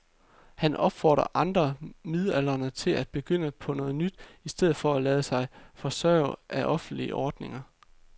Han opfordrer andre midaldrende til at begynde på noget nyt i stedet for at lade sig forsørge af offentlige ordninger.